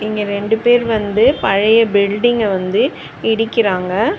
இங்க ரெண்டு பேர் வந்து பழைய பில்டிங்க வந்து இடிக்கிறாங்க.